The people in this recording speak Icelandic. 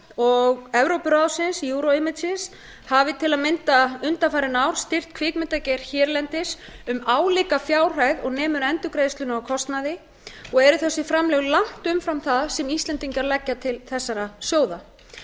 og evrópuráðsins euro hafi til að mynda undanfarin ár styrkt kvikmyndagerð erlendis um álíka fjárhæð og nemur endurgreiðslum á kostnaði og eru þessi framlög langt umfram það sem íslendingar leggja til þessara sjóða